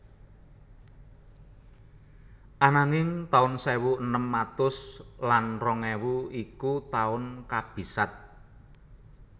Ananging taun sewu enem atus lan rong ewu iku taun kabisat